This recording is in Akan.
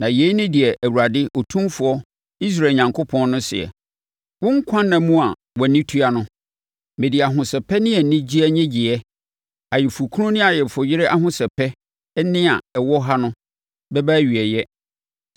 Na yei ne deɛ Awurade Otumfoɔ, Israel Onyankopɔn no seɛ: Wo nkwanna mu a, wʼani tua no, mede ahosɛpɛ ne anigyeɛ nnyegyeɛ, ayeforɔkunu ne ayeforɔyere ahosɛpɛ nne a ɛwɔ ha no, bɛba awieeɛ.